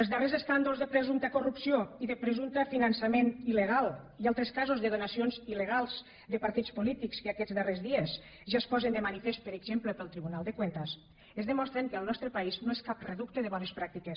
els darrers escàndols de presumpta corrupció i de presumpte finançament il·legal i altres casos de donacions il·legals de partits polítics que aquests darrers dies ja es posen de manifest per exemple pel tribunal de cuentas ens demostren que el nostre país no és cap reducte de bones pràctiques